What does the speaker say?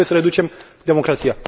Nu trebuie să reducem democrația!